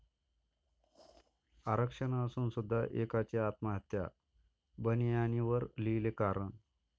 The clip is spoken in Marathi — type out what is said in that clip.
आरक्षण असून सुद्धा एकाची आत्महत्या, बनियानीवर लिहिले कारण